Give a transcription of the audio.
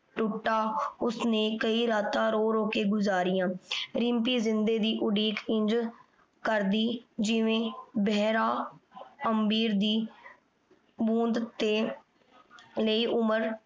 ਟੂਟਤਾ ਓਸਨੇ ਕਈ ਰਾਤਾਂ ਰੋ ਰੋ ਕੇ ਗੁਜ਼ਾਰਿਯਾਂ ਰਿਮ੍ਪੀ ਜਿੰਦੇ ਦੀ ਉਡੀਕ ਇੰਜ ਜਿਵੇਂ ਬੇਹਰਾ ਅਮ੍ਬੀਰ ਦੀ ਬੋੰਦਾ ਤੇ ਲੈ ਉਮਰ